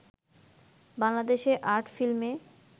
বাংলাদেশে আর্ট ফিল্মে